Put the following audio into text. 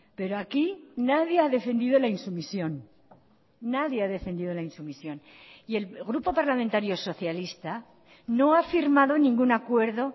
pero aquí nadie ha defendido la insumisión nadie ha defendido la insumisión y el grupo parlamentario socialista no ha firmado ningún acuerdo